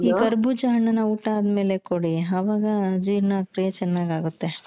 ಈ ಕರ್ಬೂಜ ಹಣ್ಣನ್ನ ಊಟ ಅದ್ಮೇಲೆ ಕೊಡಿ ಆವಾಗ ಜೀರ್ಣಕ್ರೀಯೆ ಚೆನ್ನಾಗಾಗುತ್ತೆ .